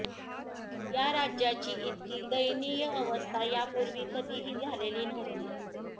या राज्याची इतकी दयनीय अवस्था यापूर्वी कधीही झालेली नव्हती